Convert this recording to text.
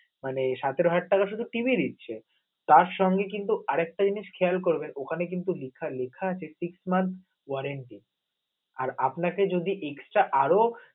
মানে সাতেরো হাজার টাকা শুধু TV নিচ্ছে, তার সঙ্গে কিন্তু আরেকটা জিনিস খেয়াল করবেন ওখানে কিন্তু লেখা লেখা আছে ঠিক mark orenty আর আপনাকে যদি extra আরও